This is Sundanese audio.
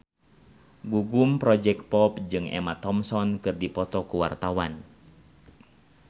Gugum Project Pop jeung Emma Thompson keur dipoto ku wartawan